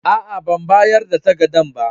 Aa, ban bayar da takadan ba.